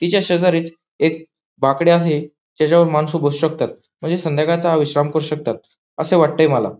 तिच्या शेजारीच एक बाकडे असे ज्याच्यावर माणस बसू शकतात म्हणजे संध्याकाळचा हा विश्राम करू शकतात अस वाटतय मला.